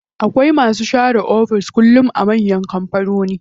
Akwai masu share cikin ofis kullum a manyan kampanoni.